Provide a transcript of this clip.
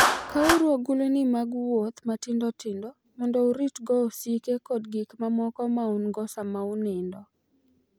Kawuru agulini mag wuoth matindo tindo mondo uritgo osike kod gik mamoko ma un-go sama unindo.